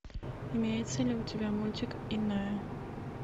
имеется ли у тебя мультик иная